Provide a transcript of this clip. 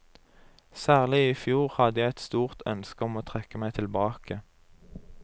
Særlig i fjor hadde jeg et stort ønske om å trekke meg tilbake.